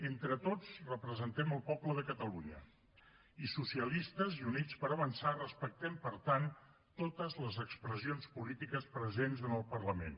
entre tots representem el poble de catalunya i socialistes i units per avançar respectem per tant totes les expressions polítiques presents en el parlament